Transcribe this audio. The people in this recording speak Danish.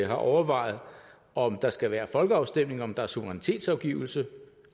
har overvejet om der skal være folkeafstemning om der er suverænitetsafgivelse og